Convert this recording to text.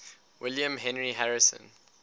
william henry harrison